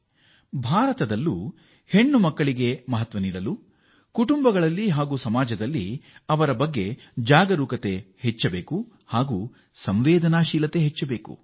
ನಮ್ಮ ದೇಶದಲ್ಲಿ ಕೂಡ ನಮ್ಮ ಹೆಣ್ಣು ಮಕ್ಕಳ ಬಗ್ಗೆ ಹೆಚ್ಚಿನ ಸಂವೇದನೆಯೊಂದಿಗೆ ಇನ್ನೂ ಹೆಚ್ಚು ಪ್ರಾಮುಖ್ಯತೆ ನೀಡುವ ಅಗತ್ಯವಿದೆ